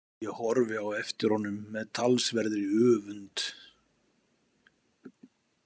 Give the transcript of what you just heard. Ég horfi á eftir honum með talsverðri öfund.